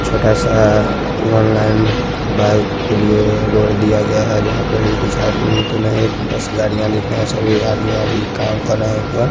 छोटा सा online bike के लिए रोड दिया गया है जहाँ पे भी कुछ आदमी तो नहीं बस गाड़ीयाँ दिख रहे है सभी आदमीया भी काम कर रहे है एकबार--